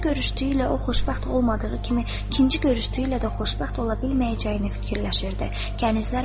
Birinci görüşdüyü ilə o xoşbəxt olmadığı kimi, ikinci görüşdüyü ilə də xoşbəxt ola bilməyəcəyini fikirləşirdi.